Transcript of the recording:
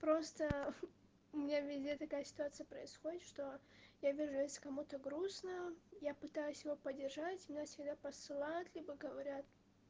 просто у меня везде такая ситуация происходит что я вижу если кому-то грустно я пытаюсь его поддержать меня всегда посылают либо говорят